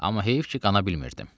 Amma heyif ki, qana bilmirdim.